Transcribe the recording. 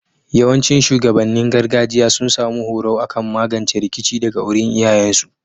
Yawancin shugabannin gargajiya sun samu horo akan magance rikici daga wurin iyayen su